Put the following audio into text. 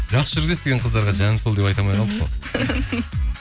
жақсы жүргізесіз деген қыздарға жаным сол деп айта алмай қалдық қой